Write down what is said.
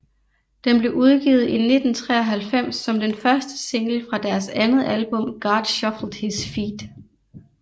Den blev udgivet i 1993 som den første single fra deres andet album God Shuffled His Feet